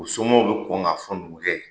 U somɔɔw be kɔn ka fɔ numukɛ ye.